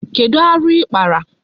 Kedu aru ikpara?